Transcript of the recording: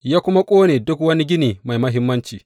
Ya kuma ƙone duk wani gini mai muhimmanci.